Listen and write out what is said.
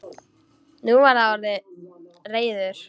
Nú var hann orðinn reiður.